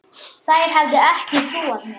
Þær hefðu ekki trúað mér.